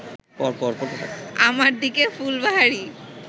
আমার দিকে ফুলবাহারি